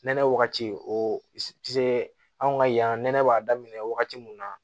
Nɛnɛ wagati o tɛ se anw ka yan nɛnɛ b'a daminɛ wagati min na